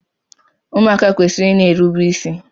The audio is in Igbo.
Ụmụaka kwesịrị ịna erubi isi